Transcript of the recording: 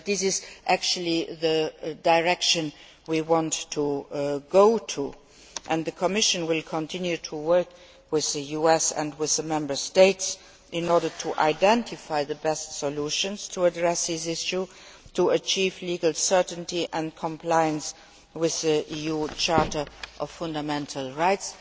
But this is the direction we want to go in, and the Commission will continue to work with the US and with the Member States in order to identify the best way to address this issue and achieve legal certainty and compliance with the EU Charter of Fundamental Rights.